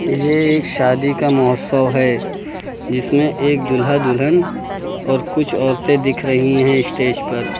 ये एक शादी का महोत्सव है जिसमें एक दूल्हा दुल्हन और कुछ औरतें दिख रही हैं स्टेज पर।